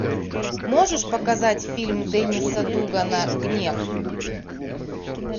можешь показать фильм денниса дугана гнев